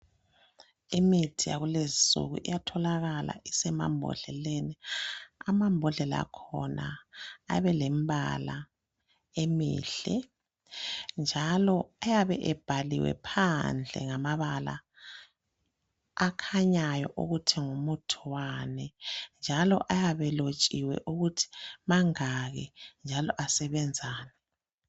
Imithi yakulezinsuku iyatholakala isemambodleleni ,amambodlela akhona ayabe elembala emihle .Njalo ayabe ebhaliwe phandle ngamabala akhanyayo ukuthi ngumuthi Wani. Njalo ayabe elotshiwe ukuthi mangaki njalo asebenzani.